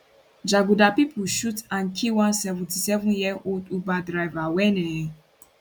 jaguda pipo shoot and kill one 77yearold uber driver wen um